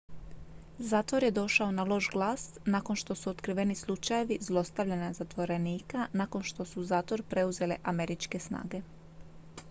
zatvor je došao na loš glas nakon što su otkriveni slučajevi zlostavljanja zatvorenika nakon što su zatvor preuzele američke snage